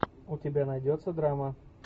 у тебя найдется драма